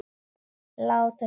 Og láta sig dreyma.